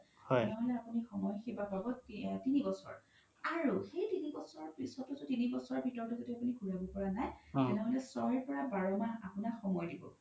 তেনেহ'লে আপোনি সময় সেৱা পাব তিনি বছৰ সেই তিনি বছৰ পিছতও যদি তিনি বছৰ ভিতৰতও আপোনি ঘুৰাব পৰা নাই তেনেহ'লে ছয় পৰা বাৰ মাহ আপোনাক সময় দিব